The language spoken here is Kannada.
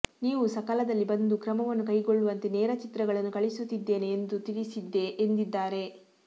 ನೀವು ಸಕಾಲದಲ್ಲಿ ಬಂದು ಕ್ರಮವನ್ನು ಕೈಗೊಳ್ಳುವಂತೆ ನೇರ ಚಿತ್ರಗಳನ್ನು ಕಳುಹಿಸುತ್ತಿದ್ದೇನೆ ಎಂದು ತಿಳಿಸಿದ್ದೆ ಎಂದಿದ್ದಾರೆ